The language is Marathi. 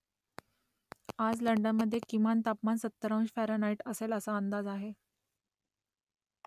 आज लंडनमध्ये किमान तापमान सत्तर अंश फॅरनहाईट असेल असा अंदाज आहे